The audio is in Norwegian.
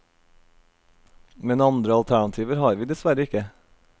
Men andre alternativer har vi dessverre ikke.